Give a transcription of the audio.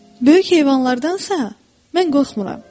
Böyük heyvanlardansa mən qorxmuram.